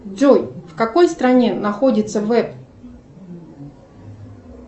джой в какой стране находится веб